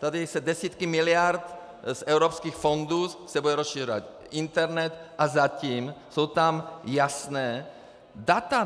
Tady se desítky miliard z evropských fondů - bude se rozšiřovat internet a zatím jsou tam jasná data.